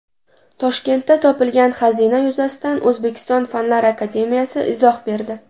Toshkentda topilgan xazina yuzasidan O‘zbekiston Fanlar akademiyasi izoh berdi.